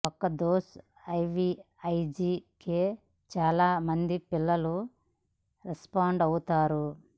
ఒక్క dose IVIG కే చాలా మంది పిల్లలు రెస్పాండ్ అవుతారు